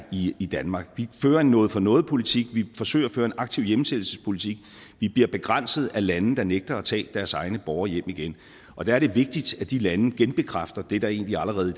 i danmark vi fører en noget for noget politik vi forsøger at føre en aktiv hjemsendelsespolitik vi bliver begrænset af lande der nægter at tage deres egne borgere hjem igen og der er det vigtigt at de lande genbekræfter det der egentlig allerede i